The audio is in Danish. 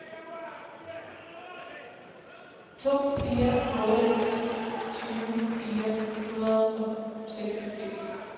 to fire otte ni tyve fire hundrede og seksogfirs